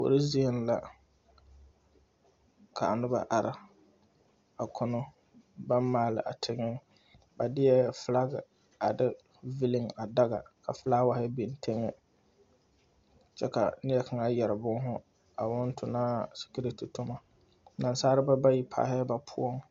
Kuori zieŋ la kaa noba are a kono baŋ maali a tegɛ ba deɛ filag a de veli a daga ka filaaware biŋ tegɛ kyɛ ka neɛ kaŋa yɛre bɔɔhu awoo oŋ tonɔ sikiriti toma nasalba bayi paalɛɛ ba poɔ.